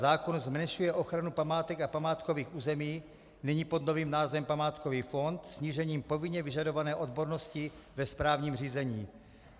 Zákon zmenšuje ochranu památek a památkových území, nyní pod novým názvem památkový fond, snížením povinně vyžadované odbornosti ve správním řízení.